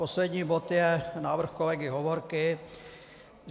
Poslední bod je návrh kolegy Hovorky.